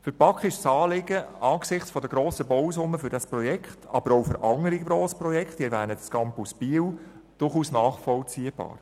Für die BaK ist das Anliegen angesichts der grossen Bausummen für das Projekt, aber auch für andere Grossprojekte – ich erwähne den Campus Biel – durchaus nachvollziehbar.